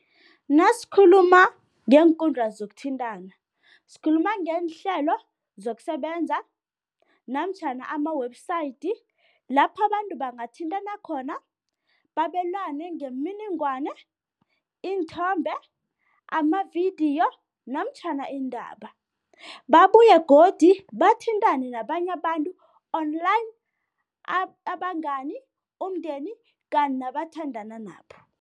Nasikhuluma ngeenkundla zokuthintana, sikhuluma ngeenhlelo zokusebenza namtjhana ama-website lapho abantu bangathintana khona, babelane ngemininingwane, iinthombe, amavidiyo namtjhana iindaba. Babuye godu bathintane nabanye abantu online, abangani umndeni kanti nabathandana nabo.